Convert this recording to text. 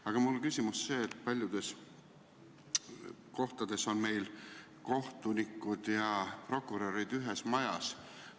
Aga paljudes kohtades on kohtunikud ja prokurörid ühes majas.